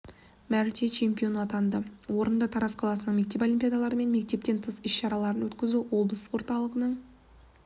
мәрте чемпионы атанды орынды тараз қаласының мектеп олимпиадалары мен мектептен тыс іс-шараларын өткізу облыстық орталағының